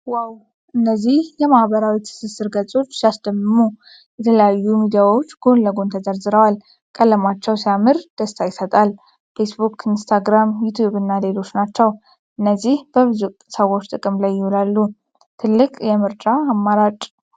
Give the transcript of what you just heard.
ዋው! እነዚህ የማህበራዊ ትስስር ገፆች ሲያስደምሙ! የተለያዩ ሚዲያዎች ጎን ለጎን ተዘርዝረዋል። ቀለማቸው ሲያምር ደስታ ይሰጣል። ፌስቡክ፣ ኢንስታግራም፣ ዩቲዩብ እና ሌሎች ናቸው። እነዚህ በብዙ ሰዎች ጥቅም ላይ ይውላሉ። ትልቅ የምርጫ አማራጭ!